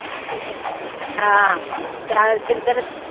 ਆਹ ਚਲ ਜਿੰਦਰ